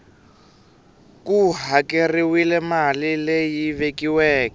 ku hakeriwile mali leyi vekiweke